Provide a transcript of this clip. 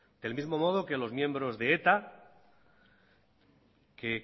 del mismo modo que los miembros de eta que